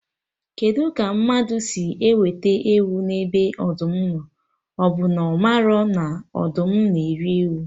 Kedụ ka mmadụ si wete ewu ebe ọdụm nọ, ọbụ na ọ marọ na ọdụm na eri ewu?